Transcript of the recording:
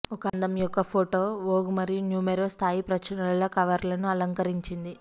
ఒక అందం యొక్క ఫోటో వోగ్ మరియు న్యూమెరో స్థాయి ప్రచురణల కవర్లను అలంకరించింది